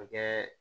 Ka kɛ